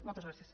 moltes gràcies